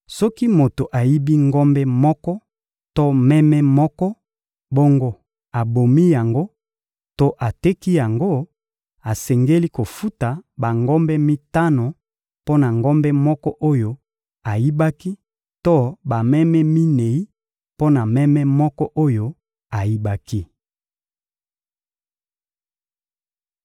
Soki moto ayibi ngombe moko to meme moko, bongo abomi yango to ateki yango; asengeli kofuta bangombe mitano mpo na ngombe moko oyo ayibaki to bameme minei mpo na meme moko oyo ayibaki.